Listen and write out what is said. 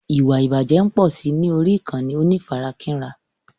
Ìwà ìbàjẹ́ ń pọ̀si ní orí ìkànnì onífarakínra.